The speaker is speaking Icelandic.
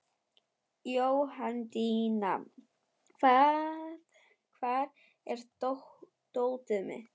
Jóhanndína, hvar er dótið mitt?